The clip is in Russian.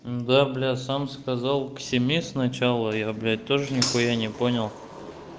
да блядь сам сказал к семи сначала я блядь тоже нихуя не понял